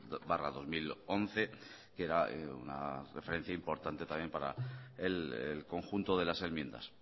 barra dos mil once que era una referencia importante también para el conjunto de las enmiendas